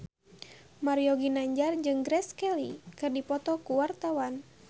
Mario Ginanjar jeung Grace Kelly keur dipoto ku wartawan